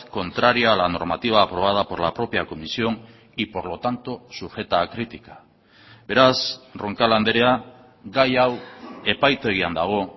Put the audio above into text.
contraria a la normativa aprobada por la propia comisión y por lo tanto sujeta a crítica beraz roncal andrea gai hau epaitegian dago